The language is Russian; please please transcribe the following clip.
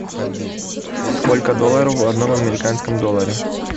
сколько долларов в одном американском долларе